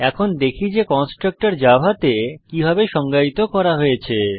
এখন দেখি যে কনস্ট্রাক্টর জাভাতে কিভাবে সংজ্ঞায়িত করা হয়েছে